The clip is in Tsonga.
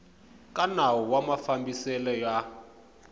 ka nawu wa mafambiselo ya